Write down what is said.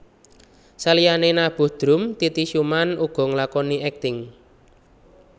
Saliyane nabuh drum Titi Sjuman uga nglakoni akting